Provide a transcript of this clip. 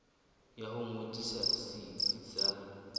ya ho ngodisa setsi sa